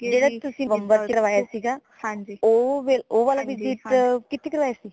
ਜੇੜਾ ਤੁਸੀਂ ਨਵੰਬਰ ਵਿੱਚ ਕਰਵਾਇਆ ਸੀਗਾ , ਉਹ ਫੇਰ ਉਹ visit ਕਿਥੇ ਕਰਾਯਾ ਸੀ